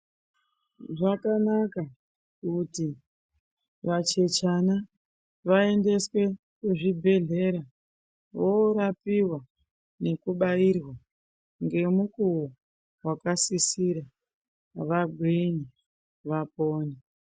Zvakanaka kuti vachechana vaendeswe kuzvibhehlera vorapiwa nekubairwa ngemukuwo wakasisira vagwinye .vapone .